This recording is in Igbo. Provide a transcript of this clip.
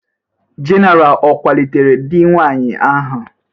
General o kwalitere di nwanyị ahụ?